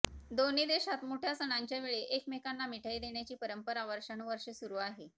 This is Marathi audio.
दोन्ही देशात मोठ्या सणांच्यावेळी एकमेकांना मिठाई देण्याची परंपरा वर्षानुवर्षे सुरू आहे